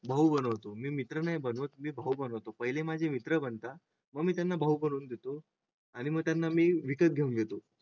भाऊ बनवतो मी मित्र बनवत नाही मी भाऊ बनवतो. पहिले माझे मित्र बनता मग मी त्यांना भाऊ बनून देतो आणि मग त्यांना मी विकत घेऊन घेतो.